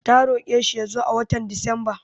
Ta roƙe shi ya zo a watan Disamba.